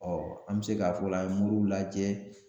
an bɛ se k'a fɔ o la an ye muru lajɛ.